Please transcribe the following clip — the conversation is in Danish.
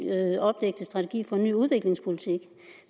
strategi for en ny udviklingspolitik